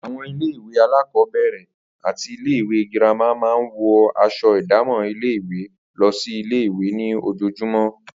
Àwo̩n ilé ìwé alákò̩ó̩bè̩rè̩ àti ilé ìwé girama máa ń wo̩ as̩o̩ ìdámò̩ ilé-ìwé lo̩ sí ilé-ìwé ní ojoojúmó̩